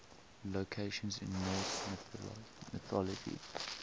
locations in norse mythology